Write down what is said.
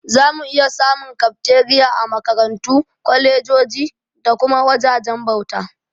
Zamu iya samun Kafteriya a Makarantu, kwalejoji da kuma wajajen bauta.